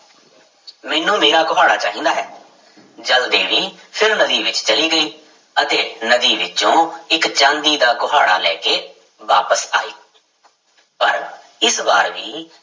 ਮੈਨੂੰ ਮੇਰਾ ਕੁਹਾੜਾ ਚਾਹੀਦਾ ਹੈ ਜਲ ਦੇਵੀ ਫਿਰ ਨਦੀ ਵਿੱਚ ਚਲੀ ਗਈ ਅਤੇ ਨਦੀ ਵਿੱਚੋਂ ਇੱਕ ਚਾਂਦੀ ਦਾ ਕੁਹਾੜਾ ਲੈ ਕੇ ਵਾਪਿਸ ਆਈ ਪਰ ਇਸ ਵਾਰ ਵੀ